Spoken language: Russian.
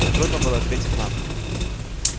трудно было ответить нам